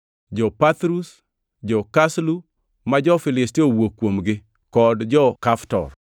Jo-Pathrus, jo-Kaslu (ma jo-Filistia nowuok kuomgi) kod jo-Kaftor.